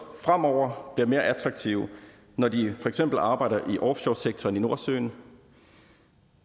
fremover bliver mere attraktive når de for eksempel arbejder i offshoresektoren i nordsøen